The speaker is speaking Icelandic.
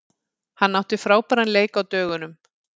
Hann átti frábæran leik á dögunum.